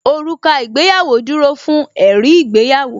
Òrùka ìgbéyàwó dúró fún ẹ̀rí ìgbéyàwó